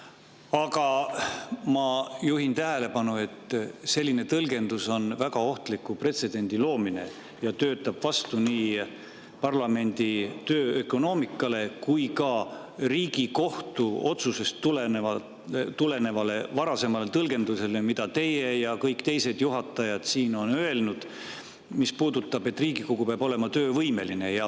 Aga ma juhin tähelepanu, et selline tõlgendus on väga ohtliku pretsedendi loomine ja töötab vastu nii parlamendi töö ökonoomiale kui ka Riigikohtu otsusest tulenevale varasemale tõlgendusele, mida teie ja kõik teised juhatajad on siin maininud ning mis puudutab seda, et Riigikogu peab olema töövõimeline.